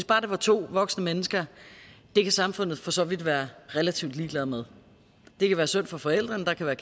bare var to voksne mennesker kan samfundet for så vidt være relativt ligeglad med det kan være synd for forældrene der kan være